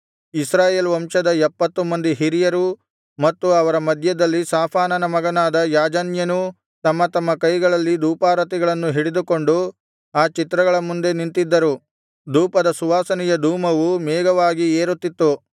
ಇಸ್ರಾಯೇಲ್ ವಂಶದ ಎಪ್ಪತ್ತು ಮಂದಿ ಹಿರಿಯರೂ ಮತ್ತು ಅವರ ಮಧ್ಯದಲ್ಲಿ ಶಾಫಾನನ ಮಗನಾದ ಯಾಜನ್ಯನೂ ತಮ್ಮ ತಮ್ಮ ಕೈಗಳಲ್ಲಿ ಧೂಪಾರತಿಗಳನ್ನು ಹಿಡಿದುಕೊಂಡು ಆ ಚಿತ್ರಗಳ ಮುಂದೆ ನಿಂತಿದ್ದರು ಧೂಪದ ಸುವಾಸನೆಯ ಧೂಮವು ಮೇಘವಾಗಿ ಏರುತ್ತಿತ್ತು